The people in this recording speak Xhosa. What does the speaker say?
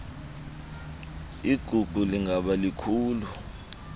igugu lingaba likhulu